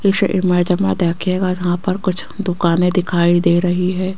इस इमेज में देखिएगा जहां पर कुछ दुकानें दिखाई दे रही है।